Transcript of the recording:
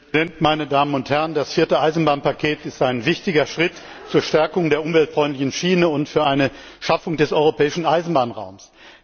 Herr Präsident, meine Damen und Herren! Das vierte Eisenbahnpaket ist ein wichtiger Schritt zur Stärkung der umweltfreundlichen Schiene und zur Schaffung des Europäischen Eisenbahnraums.